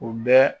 U bɛ